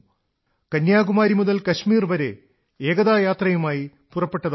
കന്യാകുമാരി മുതൽ കശ്മീർ വരെ ഏകതാ യാത്രയുമായി പുറപ്പെട്ടതായിരുന്നു